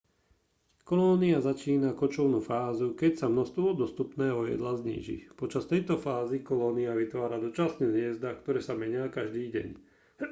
kolónia začína kočovnú fázu keď sa množstvo dostupného jedla zníži počas tejto fázy kolónia vytvára dočasné hniezda ktoré sa menia každý deň